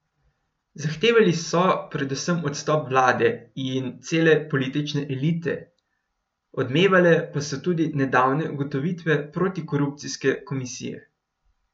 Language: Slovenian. Zahtevali so predvsem odstop vlade in cele politične elite, odmevale pa so tudi nedavne ugotovitve protikorupcijske komisije.